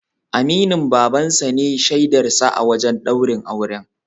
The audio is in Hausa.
Aminin Baban sa ne shaidar sa a wajen ɗaurin auren.